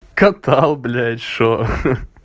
катал блядь что